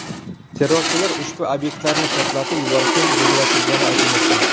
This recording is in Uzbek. Terrorchilar ushbu obyektlarni portlatib yuborishni rejalashtirgani aytilmoqda.